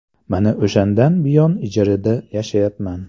Mana o‘shandan buyon ijarada yashayapman.